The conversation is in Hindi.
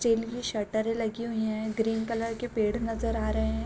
चलिए शटर लगी हुई हैं ग्रीन कलर के पेड़ नज़र आ रहे हैं।